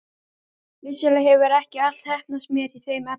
Vissulega hefur ekki allt heppnast mér í þeim efnum.